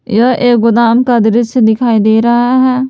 यह एक गोदाम का दृश्य दिखाई दे रहा है।